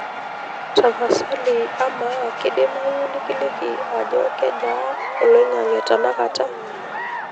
tapasali amaa kidimayu nikiliki ajo kejaa olaing'ang'e tenakata